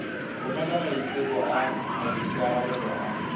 romela maiteko a maikarebelo a